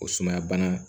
O sumaya bana